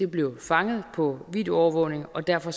blev fanget på videoovervågningen og derfor